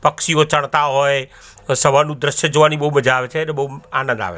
પક્ષીઓ ચણતા હોય અ સવારનુ દ્રશ્ય જોવાની બો મજા આવે અને બો આનંદ આવે.